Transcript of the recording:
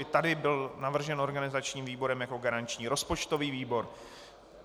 I tady byl navržen organizačním výborem jako garanční rozpočtový výbor.